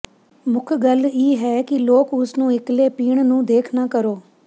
ਮੁੱਖ ਗੱਲ ਇਹ ਹੈ ਕਿ ਲੋਕ ਉਸ ਨੂੰ ਇਕੱਲੇ ਪੀਣ ਨੂੰ ਦੇਖ ਨਾ ਕਰੋ